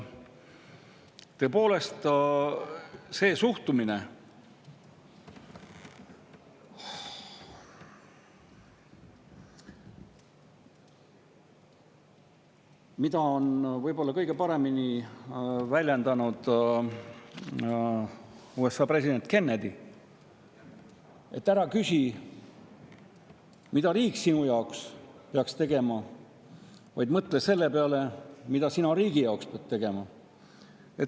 Tõepoolest, seda suhtumist on võib-olla kõige paremini väljendanud USA president Kennedy: ära küsi, mida peaks riik sinu heaks tegema, vaid mõtle selle peale, mida pead sina riigi heaks tegema.